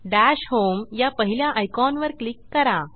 दश होम या पहिल्या आयकॉनवर क्लिक करा